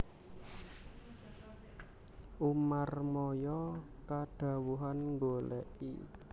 Umarmaya kadhawuhan nggolèki